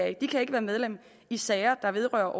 ikke kan være medlem i sager der vedrører